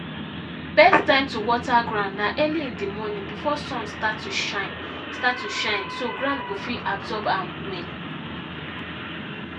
best time to water ground na early in the morning before sun start to shine start to shine so ground go fit abosrb am well